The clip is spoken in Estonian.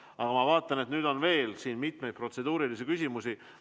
Aga ma vaatan, et nüüd on veel siin mitu protseduurilist küsimust.